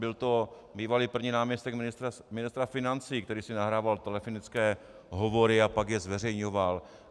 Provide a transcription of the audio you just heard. Byl to bývalý první náměstek ministra financí, který si nahrával telefonické hovory a pak je zveřejňoval.